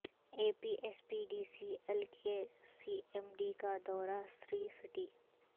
اے P S P D C L کے C M D کا دورہ سری سٹی